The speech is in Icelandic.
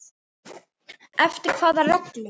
Eftir hvaða reglum?